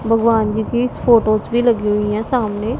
भगवान जी की फोटोस भी लगी हुई हैं सामने।